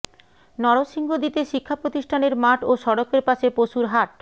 নরসিংদীতে শিক্ষা প্রতিষ্ঠানের মাঠ ও সড়কের পাশে পশুর হাট